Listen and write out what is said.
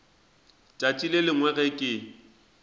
tšatši le lengwe ge ke